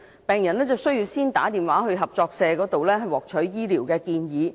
病人需要先致電合作社獲取醫療建議。